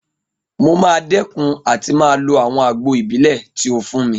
Mo máa dẹ́kun àti máa lo àwọn àgbo ìbílẹ̀ tí ó fún mi